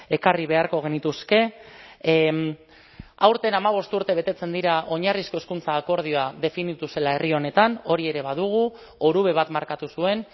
ekarri beharko genituzke aurten hamabost urte betetzen dira oinarrizko hezkuntza akordioa definitu zela herri honetan hori ere badugu orube bat markatu zuen